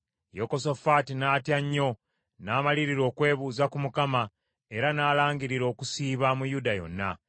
Yekosafaati n’atya nnyo n’amalirira okwebuuza ku Mukama , era n’alangirira okusiiba mu Yuda yonna.